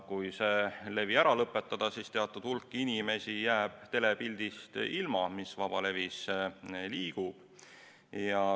Kui see levi ära lõpetada, siis teatud hulk inimesi jääb ilma telepildist, mis vabalevis liigub.